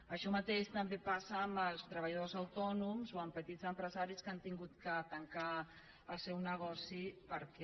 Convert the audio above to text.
això mateix també passa amb els treballadors autònoms o amb petits empresaris que han hagut de tancar el seu negoci perquè